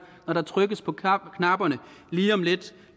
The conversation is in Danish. når der trykkes på knapperne lige om lidt